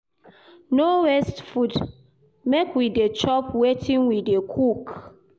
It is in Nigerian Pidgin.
No waste food, make we dey chop wetin we dey cook.